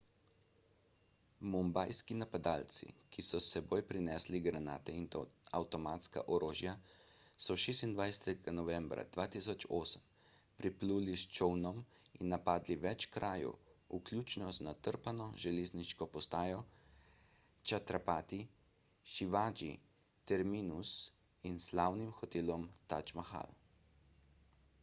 mumbajski napadalci ki so s seboj prinesli granate in avtomatska orožja so 26 novembra 2008 pripluli s čolnom in napadli več krajev vključno z natrpano železniško postajo chhatrapati shivaji terminus in slavnim hotelom taj mahal